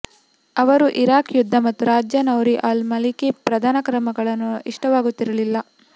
ಅವರು ಇರಾಕ್ ಯುದ್ಧ ಮತ್ತು ರಾಜ್ಯ ನೌರಿ ಅಲ್ ಮಲಿಕಿ ಪ್ರಧಾನಿ ಕ್ರಮಗಳು ಇಷ್ಟವಾಗುತ್ತಿರಲಿಲ್ಲ